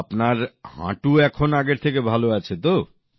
তা এখন আপনার হাঁটু আগের থেকে ভালো আছে